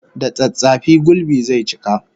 Da tsattsafi gulbi zai cika